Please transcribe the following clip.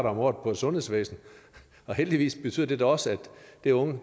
om året på et sundhedsvæsen og heldigvis betyder det da også at det unge